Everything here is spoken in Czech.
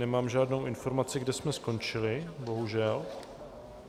Nemám žádnou informaci, kde jsme skončili, bohužel.